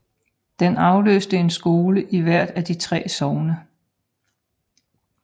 Den afløste en skole i hvert af de 3 sogne